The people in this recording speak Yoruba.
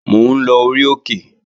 Mò ń lọ orí òkè